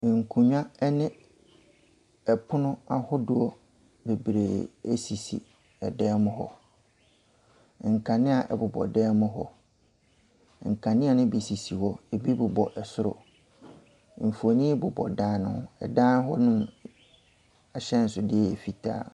Nkonnwa ɛne pono ahodoɔ bebree ɛsisi dan mu hɔ, nkanea ɛbobɔ dan mu hɔ, nkanea ne bi sisi hɔ, ɛbi bobɔ soro. Mfonin bobɔ dan ne ho. Dan ne mu ahyɛnsodeɛ yɛ fitaa.